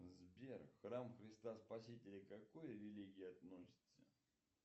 сбер храм христа спасителя к какой религии относится